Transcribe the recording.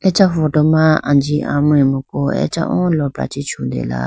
acha photo ma anji amemku acha o lopra chee chutela.